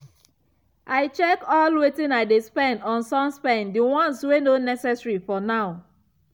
i check all wetin i dey spend on suspend the ones wey no necessary for now.